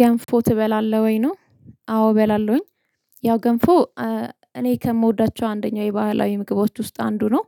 ገንፎ ትበላለህ ወይ? ነው። አዎ፣ እበላለሁኝ። ያው ገንፎ፣ እ እኔ ከምወዳቸው አንደኛው የባህላዊ ምግቦች ውስጥ አንዱ ነው።